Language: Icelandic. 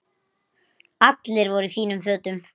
Allir voru í fínum fötum.